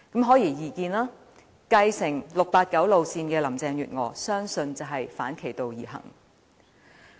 顯而易見，我相信繼承 "689" 路線的林鄭月娥會反其道而行。